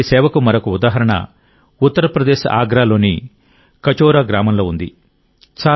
అటువంటి సేవకు మరొక ఉదాహరణ ఉత్తరప్రదేశ్ ఆగ్రాలోని కచౌరా గ్రామంలో ఉంది